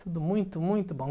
Tudo muito, muito bom.